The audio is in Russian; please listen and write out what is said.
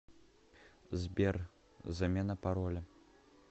сбер замена пароля